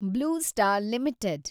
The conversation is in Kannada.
blue Star limited